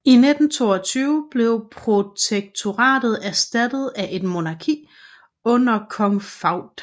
I 1922 blev protektoratet erstattet af et monarki under kong Fuad